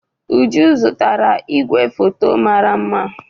Uju zụtara igwefoto mara mma.